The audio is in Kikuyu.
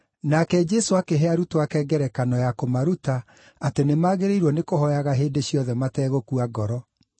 Nake Jesũ akĩhe arutwo ake ngerekano ya kũmaruta atĩ nĩmagĩrĩirwo nĩkũhooyaga hĩndĩ ciothe mategũkua ngoro.